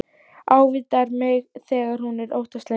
Ávítar mig þegar hún er óttaslegin.